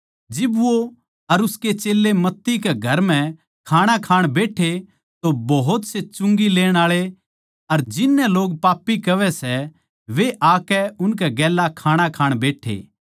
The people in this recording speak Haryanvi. जिब वो मत्ती के घर म्ह खाणा खाण खात्तर बैठ्या तो घणेए चुंगी लेण आळे अर पापी आकै यीशु अर उसकै चेल्यां के गेल्या खाणा खाण बैट्ठे